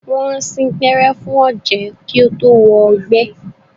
Wọ́n sín gbẹ́rẹ́ fún ọ̀jẹ̀ kí ó tó wọ egbẹ́.